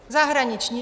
Zahraniční!